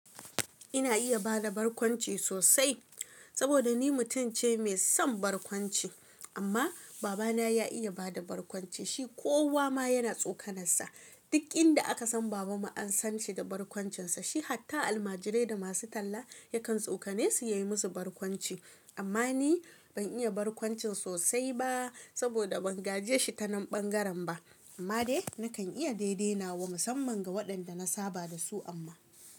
Ina iya bada barkwanci sosai saboda ni mutum ce mai son barkwanci, amma baba na ya iya bada barkwanci, shi kowa ma yana tsokanar sa, duk inda aka san baba mu an san shi da barkwancin sa, shi hatta almajirai da masu talla yakan tsokane su ya yi musu barkwanci, amma ni ban iya barkwancin sosai ba saboda ban gaje shi ta nan ɓangaren ba, amma dai nakan iya daidai nawa musamman ga waɗanda na saba da su amma.